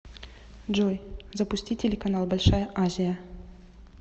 джой запусти телеканал большая азия